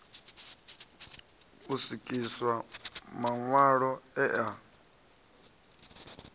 u swikiswa maṋwalo e a